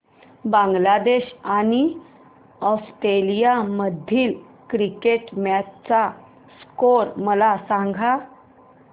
बांगलादेश आणि ऑस्ट्रेलिया मधील cricket match चा स्कोअर मला सांगा